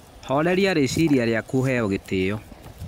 Horeria rĩciriaa riaku ũheo gĩtĩo.